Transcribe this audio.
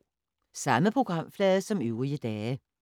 Samme programflade som øvrige dage